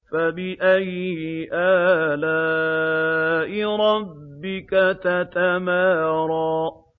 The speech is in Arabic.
فَبِأَيِّ آلَاءِ رَبِّكَ تَتَمَارَىٰ